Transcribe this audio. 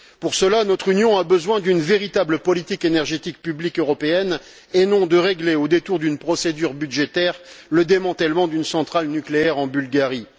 Pour cela, notre Union doit mener une véritable politique énergétique publique européenne, et non pas régler, au détour d'une procédure budgétaire, le démantèlement d'une centrale nucléaire en Bulgarie.